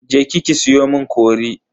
Je ki ki siyo mun cori.